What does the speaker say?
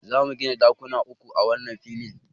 Za mu gina ɗakuna uku a wannan filin.